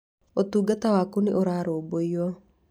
Ũtungata waku nĩ ũrarũmbũiyo.